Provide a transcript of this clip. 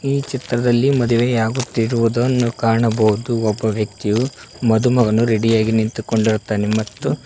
ಈ ಚಿತ್ರದಲ್ಲಿ ಮದುವೆಯಾಗುತ್ತಿರುವುದನ್ನು ಕಾಣಬಹುದು ಒಬ್ಬ ವ್ಯಕ್ತಿಯು ಮದುಮಗನು ರೆಡಿ ಯಾಗಿ ನಿಂತುಕೊಂಡಿರುತ್ತಾನೆ ಮತ್ತು--